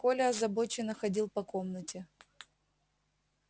коля озабоченно ходил по комнате